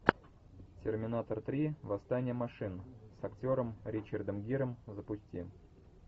терминатор три восстание машин с актером ричардом гиром запусти